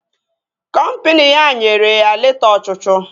Kọmpini ya nyere ya leta ọchụchụ